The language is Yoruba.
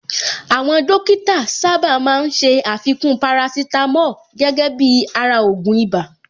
Àwọn Dókítà sáábà máa ń ṣé àfikún parasítámọ̀ gẹ́gẹ́ bíi ara ògùn ibà